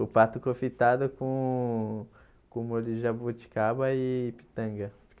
O pato confitado com com molho de jabuticaba e pitanga.